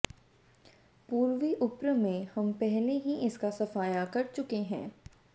पूर्वी उप्र में हम पहले ही इसका सफाया कर चुके हैं